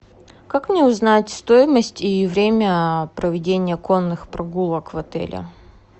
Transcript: как мне узнать стоимость и время проведения конных прогулок в отеле